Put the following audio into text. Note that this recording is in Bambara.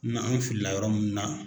N'an fili la yɔrɔ min na